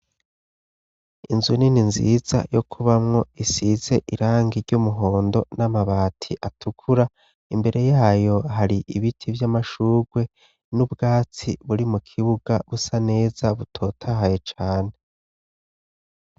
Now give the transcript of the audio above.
Inzu nini nziza yo kubamwo isize irangi ry'umuhondo n'amabati atukura, imbere y'ayo hari ibiti vy'amashurwe n'ubwatsi buri mu kibuga busa neza, butotahaye cane.